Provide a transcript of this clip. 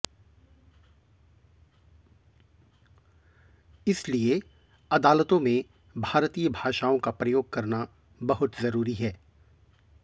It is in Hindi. इसलिए अदालतों में भारतीयों भाषाओं का प्रयोग करना बहुत जरूरी हैं